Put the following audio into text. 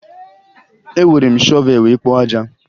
Ewere m shọvee wee kpoo aja